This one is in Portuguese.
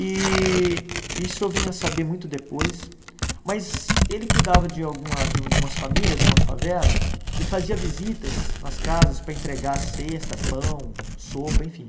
E isso eu vim a saber muito depois, mas ele cuidava de alguma de de umas famílias numa favela e fazia visitas nas casas para entregar a cesta, pão, sopa, enfim.